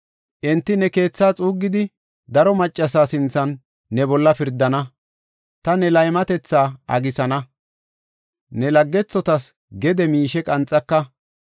Enti ne keethaa xuuggidi, daro maccasa sinthan ne bolla pirdana. Ta ne laymatetha agisana; ne laggethotas gede miishe qanxaka.